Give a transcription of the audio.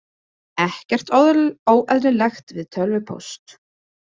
Ekkert óeðlilegt við tölvupóst